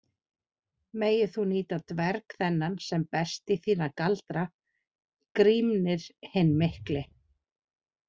Megir þú nýta dverg þennan sem best í þína galdra, Grímnir hinn mikli.